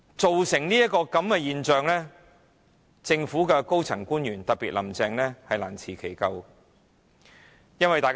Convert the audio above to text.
造成這個局面，政府的高層官員，特別是"林鄭"難辭其咎。